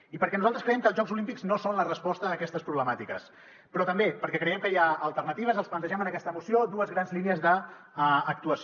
i perquè nosaltres creiem que els jocs olímpics no són la resposta a aquestes problemàtiques però també perquè creiem que hi ha alternatives els plantegem en aquesta moció dues grans línies d’actuació